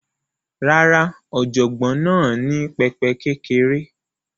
Rárá, ọ̀jọ̀gbọ́n náà ní pẹpẹ kékeré